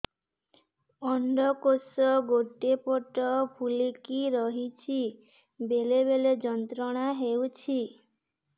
ଅଣ୍ଡକୋଷ ଗୋଟେ ପଟ ଫୁଲିକି ରହଛି ବେଳେ ବେଳେ ଯନ୍ତ୍ରଣା ହେଉଛି